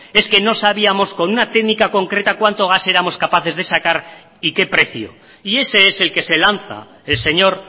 es que no sabíamos con una técnica concreta cuánto gas éramos capaces de sacar y qué precio y ese es el que se lanza el señor